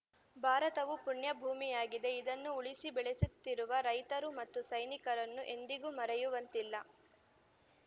ಭಾರತವು ಪುಣ್ಯಭೂಮಿಯಾಗಿದೆ ಇದನ್ನು ಉಳಿಸಿ ಬೆಳೆಸುತ್ತಿರುವ ರೈತರು ಮತ್ತು ಸೈನಿಕರನ್ನು ಎಂದಿಗೂ ಮರೆಯುವಂತಿಲ್ಲ